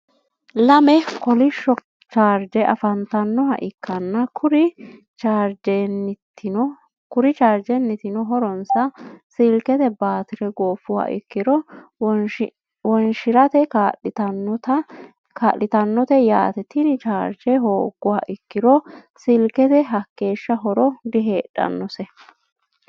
lamme kolisho charige afanitannoha ikanna kuri charigennitinno horonssa silikete batirre goofuha ikiro wonishirate kaa'litannote yaate tinni charige hoguha ikiro silikete hakeesha horo diheedhannose.